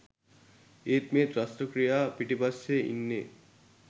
ඒත් මේ ත්‍රස්ත ක්‍රියා පිටිපස්සේ ඉන්නේ